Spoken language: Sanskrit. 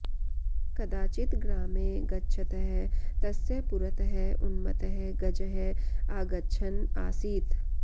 कदाचित् ग्रामे गच्छतः तस्य पुरतः उन्मत्तः गजः आगच्छन् आसीत्